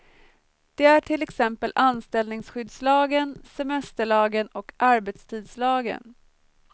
Det är till exempel anställningsskyddslagen, semesterlagen och arbetstidslagen.